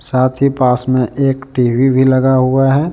पास में एक टी_वी भी लगा हुआ है।